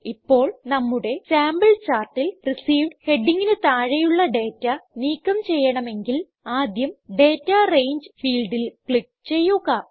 ഇപ്പോൾ നമ്മുടെ സാമ്പിൾ ചാർട്ടിൽ റിസീവ്ഡ് ഹെഡിംഗിന് താഴെ ഉള്ള ഡേറ്റ നീക്കം ചെയ്യണമെങ്കിൽ ആദ്യം ഡാറ്റ രംഗെ ഫീൽഡിൽ ക്ലിക്ക് ചെയ്യുക